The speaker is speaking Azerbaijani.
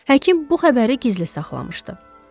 Həkim bu xəbəri gizli saxlamışdı.